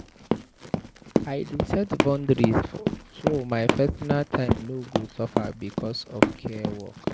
I dey set boundaries so my personal time no go suffer because of care work.